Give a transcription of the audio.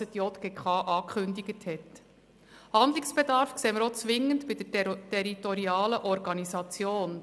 Zwingenden Handlungsbedarf sehen wir auch bei der territorialen Organisation.